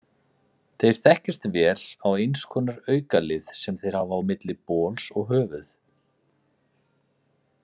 Þeir þekkjast vel á eins konar aukalið sem þeir hafa milli bols og höfuð.